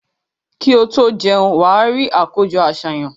Kí o tó jẹun, wà á rí àkójọ-àsàyàn.